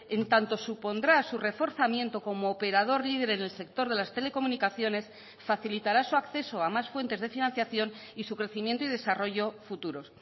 en tanto supondrá su reforzamiento como operador líder en el sector de las telecomunicaciones facilitará su acceso a más fuentes de financiación y su crecimiento y desarrollo futuros